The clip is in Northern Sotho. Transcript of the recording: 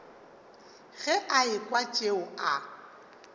ge a ekwa tšeo a